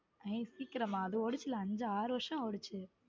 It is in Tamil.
ஏய் சீக்கிரமா அது ஓடுச்சில அஞ்சு ஆறு வருஷம் ஓடுச்சு.